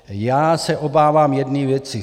Já se obávám jedné věci.